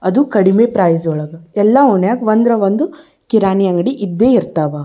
ಅದು ಕಡಿಮೆ ಪ್ರೈಜ್ ಒಳಗ್ ಎಲ್ಲ ಒಣ್ಯಾಗ ಒಂದ್ರ ಒಂದು ಕಿರಾಣಿ ಅಂಗಡಿ ಇದ್ದೆ ಇರತ್ತವ್.